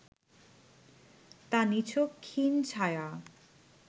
তা নিছক ক্ষীণ ছায়া